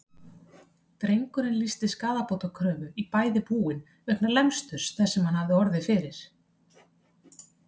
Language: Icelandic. Drengurinn lýsti skaðabótakröfu í bæði búin vegna lemsturs þess sem hann hafði orðið fyrir.